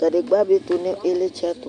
kadigba bi tʋnʋ ilitsɛ tʋ